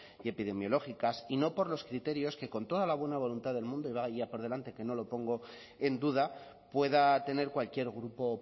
y epidemiológicas y no por los criterios que con toda la buena voluntad del mundo y vaya por delante que no lo pongo en duda pueda tener cualquier grupo